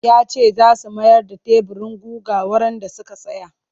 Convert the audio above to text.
Ya ce za su mayar da teburin gugar wurin da suka saya